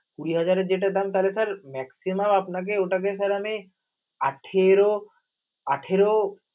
কুঁড়ি হাজার যেটার দাম তাহলে sir maximum আপনাকে ওটাতে sir আমি আঠারো আঠারো